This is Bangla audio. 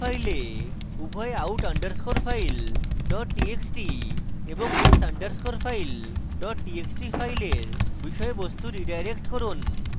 একটি নতুন file উভয় out underscore file dot txt এবং x underscore file dot txt file বিষয়বস্তু রীডাইরেক্ট করুন